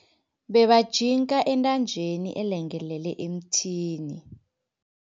Bebajinka entanjeni elengelele emthini.